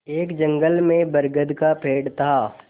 एक जंगल में बरगद का पेड़ था